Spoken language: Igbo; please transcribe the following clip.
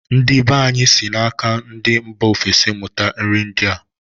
Ndi be anyị si na-aka ndị mba ofesi mụta nri ndịa.